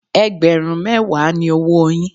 Ẹgbẹ̀rún mẹ́wàá ni owóo yín.